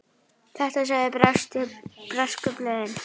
Þetta sögðu bresku blöðin.